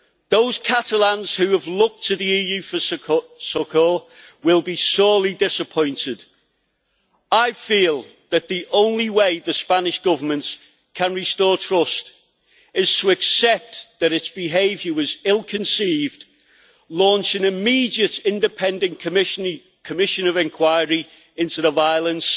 Those Catalans who have looked to the EU for succour will be sorely disappointed. I feel that the only way the Spanish Government can restore trust is to accept that its behaviour was ill conceived, launch an immediate independent committee of inquiry into the violence